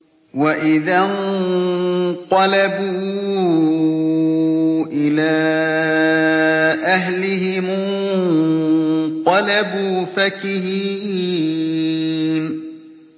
وَإِذَا انقَلَبُوا إِلَىٰ أَهْلِهِمُ انقَلَبُوا فَكِهِينَ